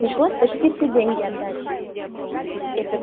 пришлось почти все деньги отдать